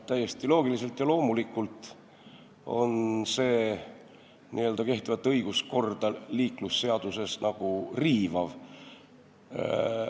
Täiesti loogiliselt ja loomulikult on see liiklusseaduse järgi kehtivat õiguskorda riivav.